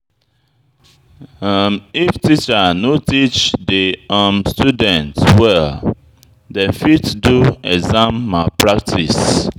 If teacher no teach di um students well, dem fit do exam malpractice.